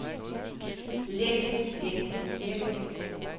let let let